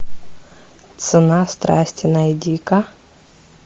цена страсти найди ка